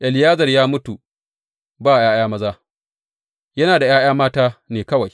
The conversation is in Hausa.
Eleyazar ya mutu ba ’ya’yan maza, yana da ’ya’ya mata ne kawai.